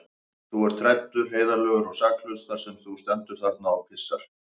Þú ert hræddur, heiðarlegur og saklaus þar sem þú stendur þarna og pissar.